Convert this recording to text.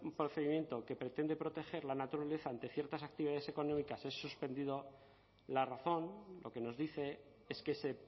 procedimiento que pretende proteger la naturaleza ante ciertas actividades económicas es suspendido la razón lo que nos dice es que se